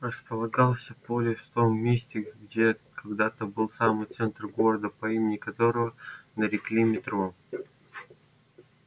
располагался полис в том месте где когда-то был самый центр города по имени которого нарекли метро